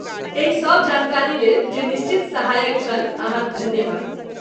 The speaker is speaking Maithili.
एहिसभ जानकारीलेल जे निश्चित सहायक छल, अहाँक धन्यवाद।